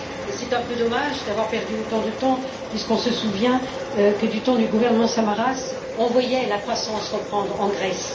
C'est un peu dommage d'avoir perdu autant de temps puisqu'on se souvient que du temps du gouvernement Samaras, on voyait la croissance reprendre en Grèce.